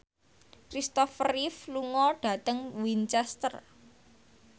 Kristopher Reeve lunga dhateng Winchester